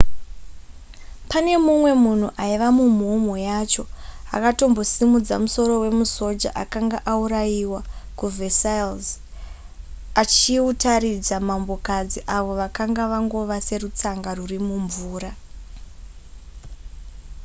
pane mumwe munhu aiva mumhomho yacho akatombosimudza musoro wemusoja akanga auraiwa kuversailles achiutaridza mambokadzi avo vakanga vangova serutsanga ruri mumvura